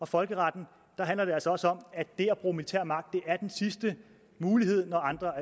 folkeretten handler det altså også om at det at bruge militær magt er den sidste mulighed når andre